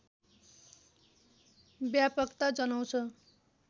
व्यापकता जनाउँछ